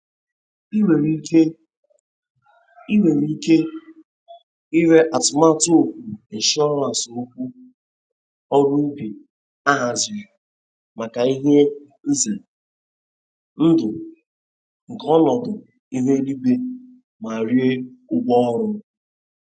I nwere ike I nwere ike ire atụmatụ okwu insurance okwu ọrụ ubi a haziri maka ihe ize.ndụ nke ọnọdụ ihu eluigwe ma rie ụgwọ ọrụ.